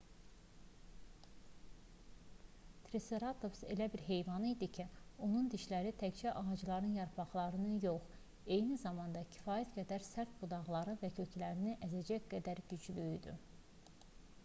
triseratops elə bir heyvan idi ki onun dişləri təkcə ağacların yarpaqlarını yox eyni zamanda kifayət qədər sərt budaqları və köklərini əzəcək qədər güclü idi